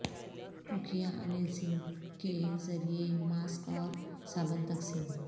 مکھیا انیل سنگھ کے ذریعہ ماسک اور صابن تقسیم